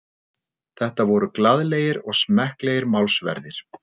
Þetta voru glaðlegir og smekklegir málsverðir